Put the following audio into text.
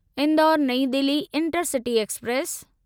Indore Nai Delhi intercity express